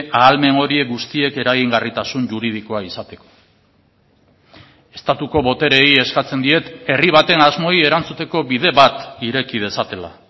ahalmen horiek guztiek eragingarritasun juridikoa izateko estatuko botereei eskatzen diet herri baten asmoei erantzuteko bide bat ireki dezatela